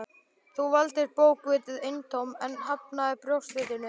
Þú valdir bókvitið eintómt en hafnaðir brjóstvitinu.